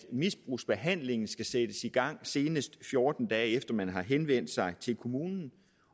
at misbrugsbehandlingen skal sættes i gang senest fjorten dage efter at man har henvendt sig til kommunen